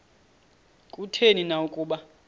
kutheni na ukuba